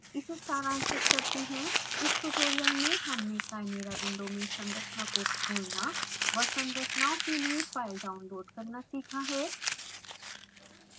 इसे सारांशित करते हैं इन ट्यूटोरियल में हमने chimera विंडो में संरचना को खोलना व संरचनाओं के लिए फाइल डाउनलोड करना सीखा है